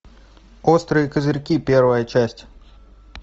острые козырьки первая часть